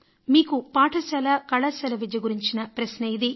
మీకు పాఠశాల కళాశాల విద్య గురించిన ప్రశ్న ఇది